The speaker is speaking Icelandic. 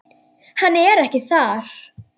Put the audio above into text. Hann er ekki þar.